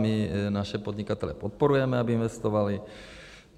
My naše podnikatele podporujeme, aby investovali.